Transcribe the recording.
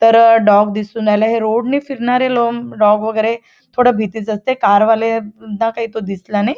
तर डॉग दिसून राहिलाय हे रोड नी फिरणारे लोम डॉग वगैरे थोडे भीतीच असते कार वाले ना काई तो दिसला नाही.